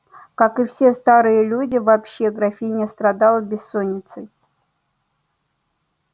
как и все старые люди вообще графиня страдала бессонницею